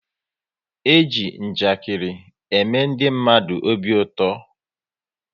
E ji njakiri ème ndị mmadụ obi ụtọ